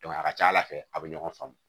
a ka ca ala fɛ a bɛ ɲɔgɔn faamu